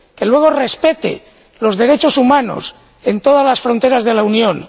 Que luego respete los derechos humanos en todas las fronteras de la Unión.